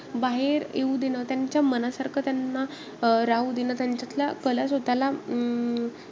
बाहेर येऊ दें, त्याच्या मनासारखं त्यांना राहू दें, त्यांच्यातल्या कला स्वतःला अं